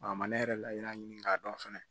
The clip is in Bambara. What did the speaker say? A ma ne yɛrɛ layiru ɲini k'a dɔn fɛnɛ